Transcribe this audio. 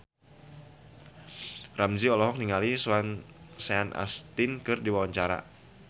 Ramzy olohok ningali Sean Astin keur diwawancara